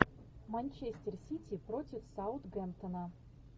манчестер сити против саутгемптона